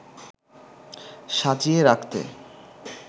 সাজিয়ে রাখতে